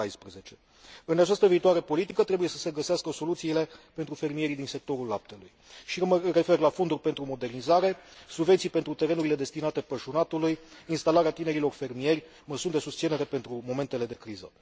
2014. În această viitoare politică, trebuie să se găsească soluții pentru fermierii din sectorul laptelui și mă refer la fonduri pentru modernizare, subvenții pentru terenurile destinate pășunatului, pentru instalarea tinerilor fermieri și măsuri de susținere pentru momentele de criză.